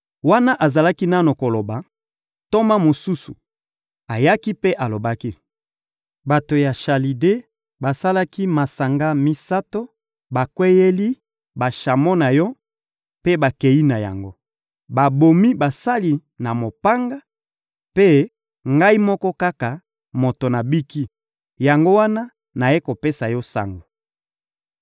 Wana azalaki nanu koloba, ntoma mosusu ayaki mpe alobaki: «Bato ya Chalide basalaki masanga misato, bakweyeli bashamo na yo mpe bakei na yango. Babomi basali na mopanga, mpe ngai moko kaka moto nabiki; yango wana nayei kopesa yo sango!»